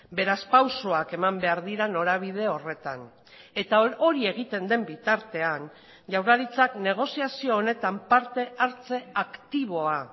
beraz pausoak eman behar dira norabide horretan eta hori egiten den bitartean jaurlaritzak negoziazio honetan parte hartze aktiboa